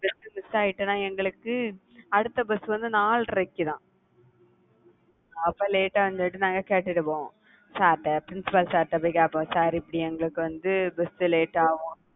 bus miss ஆயிட்டேன்னா எங்களுக்கு அடுத்த bus வந்து நாலரைக்குதான் அப்ப late ஆ வந்துட்டு நாங்க கேட்டுடுவோம். sir ட்ட principal sir ட்ட போய் கேட்போம். sir இப்படி எங்களுக்கு வந்து bus late ஆகும்